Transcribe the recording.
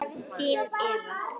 Þín, Eva.